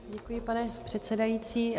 Děkuji, pane předsedající.